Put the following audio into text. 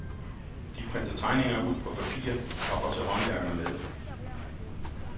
De printer tegninger ud på papir og går til håndværkerne med det.